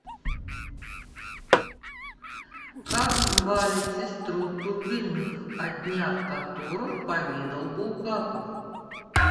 как звали сестру турбиных о днях которых поведал булгаков